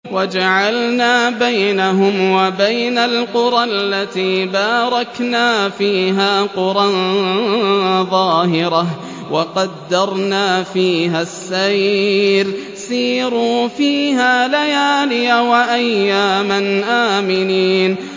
وَجَعَلْنَا بَيْنَهُمْ وَبَيْنَ الْقُرَى الَّتِي بَارَكْنَا فِيهَا قُرًى ظَاهِرَةً وَقَدَّرْنَا فِيهَا السَّيْرَ ۖ سِيرُوا فِيهَا لَيَالِيَ وَأَيَّامًا آمِنِينَ